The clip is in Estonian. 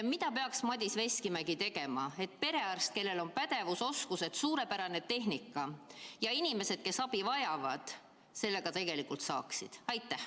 Mida peaks tegema Madis Veskimägi, perearst, kellel on pädevus, oskused ja suurepärane tehnika, et inimesed, kes abi vajavad, seda ka tegelikult saaksid?